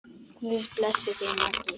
Guð blessi þig, Maggi.